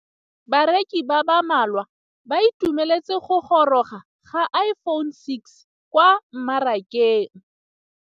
Bareki ba ba malwa ba ituemeletse go gôrôga ga Iphone6 kwa mmarakeng.